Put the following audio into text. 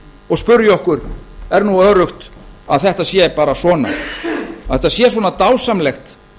og spyrja okkur er nú öruggt að best sér bara svona að þetta sé svona dásamlegt